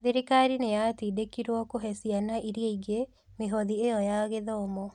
Thirikari nĩ yatindĩkirũo kũhe ciana iria ingĩ mĩhothi ĩyo ya gĩthomo.